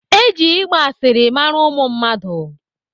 Eji igba asịrị mara ụmụ mmadụ.